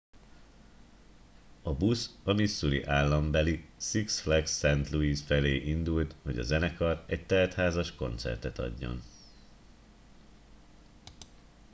a busz a missouri állambeli six flags st louis felé indult hogy a zenekar egy teltházas koncertet adjon